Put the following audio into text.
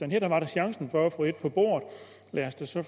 her var chancen for at få et på bordet lad os da så